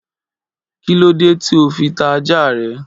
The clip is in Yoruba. Kí lóde tí óò fi ta ajá ra?